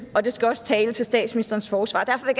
og det skal også tale til statsministerens forsvar derfor